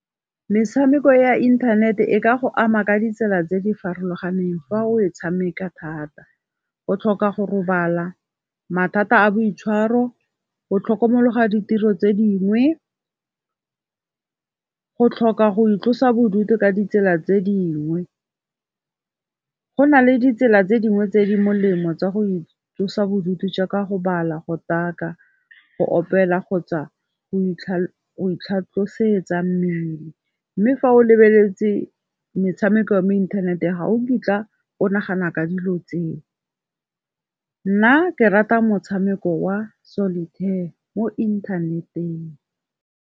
Metshameko ya inthanete e ka go ama ka ditsela tse di farologaneng fa o tshameka thata. O tlhoka go robala, mathata a boitshwaro, o tlhokomologa ditiro tse dingwe, go tlhoka go itlosa bodutu ka ditsela tse dingwe. Go nale ditsela tse dingwe tse di molemo tsa go itlosa bodutu jaaka go bala, go taka, go opela, kgotsa go itlhatlhosetsa mmele, mme fa o lebeletse metshameko ya mo inthaneteng ga o kitla o nagana ka dilo tseo. Nna ke rata motshameko wa Solitaire mo inthaneteng.